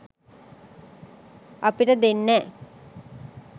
අපිට දෙන්නෑ